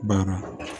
Baara